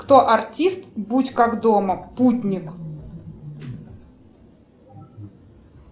кто артист будь как дома путник